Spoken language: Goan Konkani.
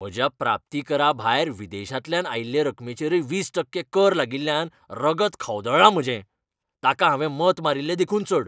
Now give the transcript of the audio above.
म्हज्या प्राप्तीकराभायर विदेशांतल्यान आयिल्ले रकमेचेरय वीस टक्के कर लागिल्ल्यान रगत खवदळ्ळां म्हजें, तांकां हांवें मत मारील्लें देखून चड.